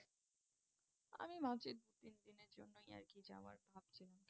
আমি ভাবছি দু তিন দিনের জন্যই আর কি যাওয়ার ভাবছিলাম